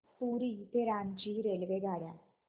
पुरी ते रांची रेल्वेगाड्या